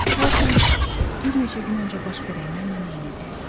Hər şey bir neçə gün öncə baş verənlərlə eynidir.